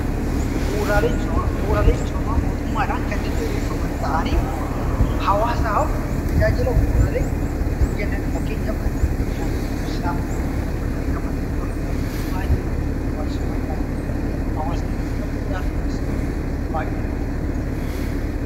Bu'uuraaleen misoomaa mootummaadhaan kan diriirfaman ta'anii hawaasaaf tajaajila bu'uuraa kan kennanidha. Fakkeenyaaf kanneen akka bishaanii, ibsaa, buufata fayyaa, manneen barnootaa isaan kun wantoota barbaachisaa ta'anii hawaasni kan qabu baay'ee rakkachuu danda'a.